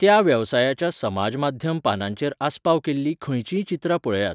त्या वेवसायाच्या समाज माध्यम पानांचेर आस्पाव केल्लीं खंयचींय चित्रां पळयात.